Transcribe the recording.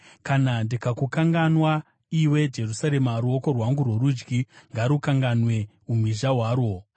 Kana ndikakukanganwa, iwe Jerusarema, ruoko rwangu rworudyi ngarukanganwe umhizha hwarwo.